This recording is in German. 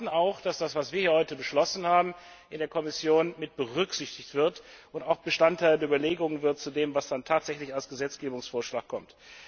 Wir erwarten, dass das, was wir heute beschlossen haben, in der Kommission mitberücksichtigt wird und auch Bestandteil der Überlegungen wird zu dem, was dann tatsächlich als Gesetzgebungsvorschlag kommt.